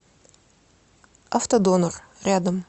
авто донор рядом